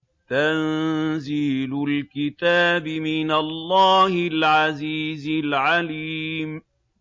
تَنزِيلُ الْكِتَابِ مِنَ اللَّهِ الْعَزِيزِ الْعَلِيمِ